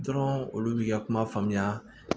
Dɔrɔn olu b'i ka kuma faamuya